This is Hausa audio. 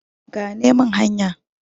gane min hanya!